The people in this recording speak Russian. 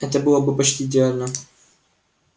это было бы почти идеально